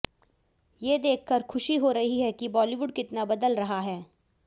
ये देखकर खुशी हो रही है कि बॉलीवुड कितना बदल रहा है